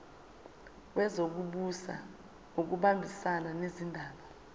wezokubusa ngokubambisana nezindaba